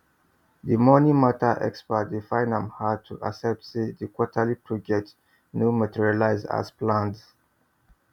the money matter expert dey find am hard to accept say the quarterly projection no materialize as planned